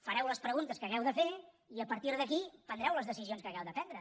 fareu les preguntes que hàgiu de fer i a partir d’aquí prendreu les decisions que hàgiu de prendre